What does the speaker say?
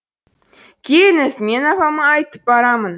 келіңіз мен апама айтып барамын